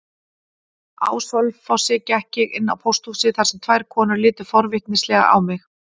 Á Selfossi gekk ég inn á pósthúsið þar sem tvær konur litu forvitnislega á mig.